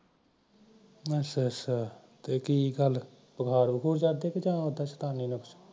ਅਛਾ ਅਛਾ ਕੀ ਗਲ ਬੁਖਾਰ ਬੁਖਾਰ ਜਾਂ ਉਦਾ ਚੇਤੰਨ